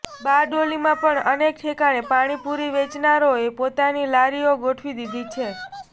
બારડોલીમાં પણ અનેક ઠેકાણે પાણીપુરી વેચનારાઓએ પોતાની લારીઓ ગોઠવી દીધી છે